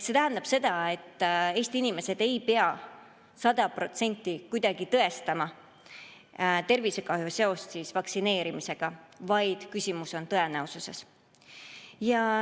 See tähendab seda, et Eesti inimesed ei pea kuidagi tõestama tervisekahju sajaprotsendilist seost vaktsineerimisega, vaid küsimus on tõenäosuses.